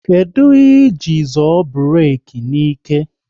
Kedụ ihe ị jiri zoọ burek n'ike?